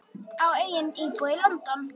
Á einnig íbúð í London.